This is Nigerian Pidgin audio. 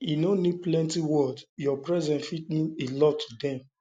e no need plenty words your presence fit mean presence fit mean a lot to dem